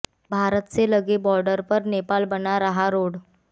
भारत से लगे बॉर्डर पर नेपाल बना रहा रोड